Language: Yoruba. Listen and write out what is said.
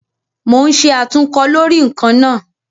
Mo ń ṣe àtúnkọ lórí ǹkan náà